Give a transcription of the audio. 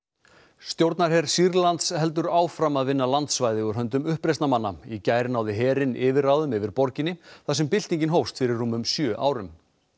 stjórnarher Sýrlands heldur áfram að vinna landsvæði úr höndum uppreisnarmanna í gær náði herinn yfirráðum yfir borginni þar sem byltingin hófst fyrir rúmum sjö árum